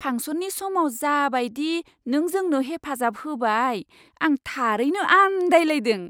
फांसननि समाव जा बायदि नों जोंनो हेफाजाब होबाय, आं थारैनो आन्दायलायदों!